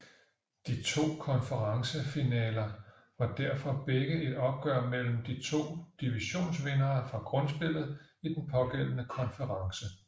De to konferencefinaler var derfor begge et opgør mellem de to divisionsvindere fra grundspillet i den pågældende konference